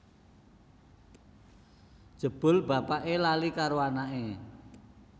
Jebul bapake lali karo anake